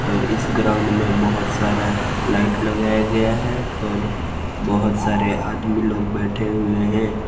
और इस ग्राउंड में बहोत सारा लाइट लगाया गया है और बहोत सारे आदमी लोग बैठे हुए हैं।